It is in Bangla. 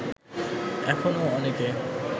এখনো অনেকে